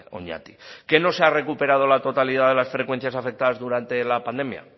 oñati que no se ha recuperado la totalidad de las frecuencias afectadas durante la pandemia